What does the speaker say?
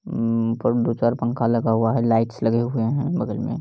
उम्म ऊपर मे दो चार पंखा लगा हुआ हैं लाइट्स लगे हुए हैं बगल में।